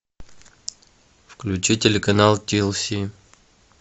включи телеканал ти эл си